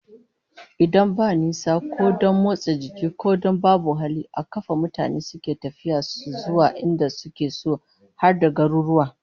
Idan babu nisa, ko don motsa jiki, ko don babu hali, a kafar mutane suke tafiyar su zuwa inda suke so, har da garuruwa